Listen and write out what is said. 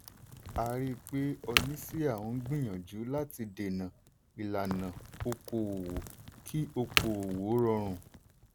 a rí pé oníṣíà ń gbìyànjú láti dènà ìlànà okò-òwò kí okò-òwò rọrùn.